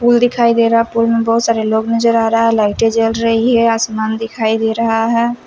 Pool दिखाई दे रहा है पूल में बोहोत सारा लोग नज़र आ रहा है लाइटे जल रही है आसमान दिखाई दे रहा है।